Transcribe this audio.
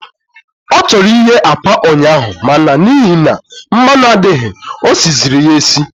Ọ chọrọ ighe akwa ụnyaahụ, ma na n'ihi na mmanụ adịghị, o siziri ya esi.